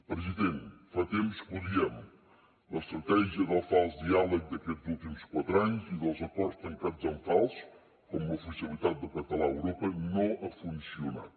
president fa temps que ho diem l’estratègia del fals diàleg d’aquests últims quatre anys i dels acords tancats en fals com l’oficialitat del català a europa no han funcionat